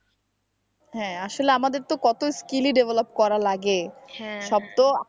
হ্যাঁ আসলে আমাদের তো কতই skill ই develop করা লাগে সব তো,